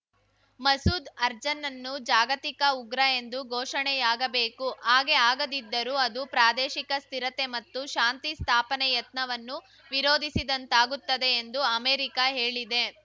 ಮಸೂದ್ ಅರ್ಜನನ್ನು ಜಾಗತಿಕ ಉಗ್ರ ಎಂದು ಘೋಷಣೆಯಾಗಬೇಕು ಹಾಗೆ ಆಗದಿದ್ದರೂ ಅದು ಪ್ರಾದೇಶಿಕ ಸ್ಥಿರತೆ ಮತ್ತು ಶಾಂತಿ ಸ್ಥಾಪನೆ ಯತ್ನವನ್ನು ವಿರೋಧಿಸಿದಂತಾಗುತ್ತದೆ ಎಂದು ಅಮೆರಿಕ ಹೇಳಿದೆ